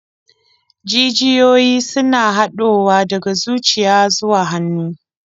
Jijiyoyi suna haɗowa daga zuciya zuwa hannu.